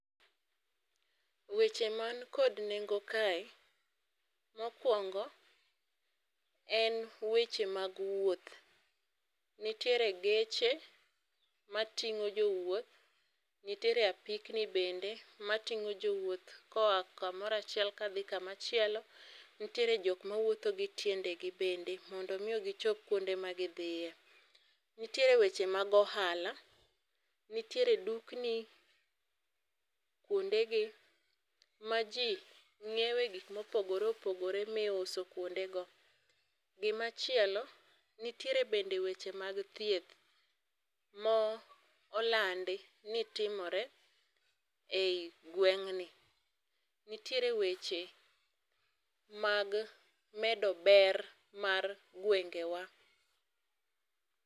weche man kod nengo kae mokuongo, en weche mag wuoth. Nitiere geche mating'o jowuoth nitiere apikni bende mating'o jowuoth koa kamora achiel kadhii kamachielo, nitiere jokma wuotho gi tiendegii bende mondo migichop kuonde magidhiyee. nitiere weche mag ohola nitiere duknii, kuondegii majii ng'iewe gik mopogoree opogoree miuso kuondegoo. gimachielo nitiere bende weche mag thieth molandi nitimore eigweng'ni. nitiere weche mag medober mar gwengewaa .